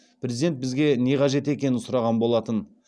президент бізге не қажет екенін сұраған болатын